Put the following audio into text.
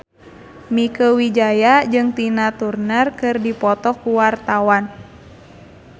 Mieke Wijaya jeung Tina Turner keur dipoto ku wartawan